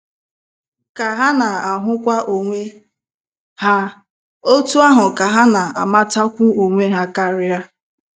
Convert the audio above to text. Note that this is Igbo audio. Ka ha na - ahụkwu onwe ha, otú ahụ ka ha na - amatakwu onwe ha karịa.